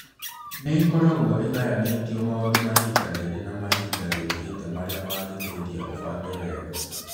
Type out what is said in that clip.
Nĩ ĩkoragwo ĩgayanĩtio maũndũ ma ihinda rĩrĩ na ma ihinda rĩũkĩte marĩa mangĩteithia ũbange wega.